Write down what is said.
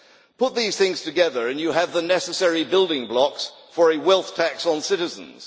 Put these things together and you have the necessary building blocks for a wealth tax on citizens.